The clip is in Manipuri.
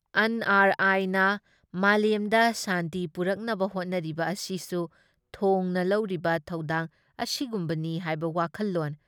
ꯑꯟ ꯑꯥꯔ ꯑꯥꯏꯅ ꯃꯥꯂꯦꯝꯗ ꯁꯥꯟꯇꯤ ꯄꯨꯔꯛꯅꯕ ꯍꯣꯠꯅꯔꯤꯕ ꯑꯁꯤꯁꯨ ꯊꯣꯡꯅ ꯂꯧꯔꯤꯕ ꯊꯧꯗꯥꯡ ꯑꯁꯤꯒꯨꯝꯕꯅꯤ ꯍꯥꯏꯕ ꯋꯥꯈꯜꯂꯣꯟ